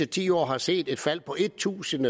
ti år har set et fald på tusind